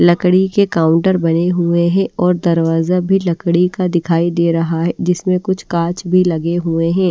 लकड़ी के काउंटर बने हुए हैं और दरवाजा भी लकड़ी का दिखाई दे रहा है जिसमें कुछ कांच भी लगे हुए हैं।